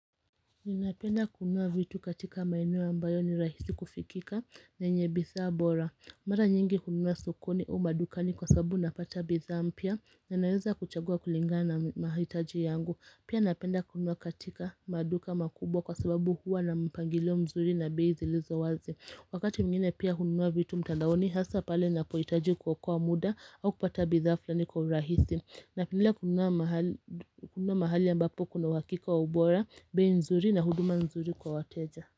Ninapenda kununua vitu katika maeneo ambayo ni rahisi kufikika na yenye bidhaa bora Mara nyingi hununua sokoni au madukani kwa sababu napata bidhaa mpya na naweza kuchagua kulingana mahalitaji yangu. Pia napenda kunua katika maduka makubwa kwa sababu huwa na mpangilio mzuri na bei zilizo wazi Wakati mwingine pia hununua vitu mtandaoni hasa pale ninapohitaji kuokoa muda au kupata bidhaa fulani kwa urahisi na pia kununua mahali ambapo kuna uhakika wa ubora, bei nzuri na huduma nzuri kwa wateja.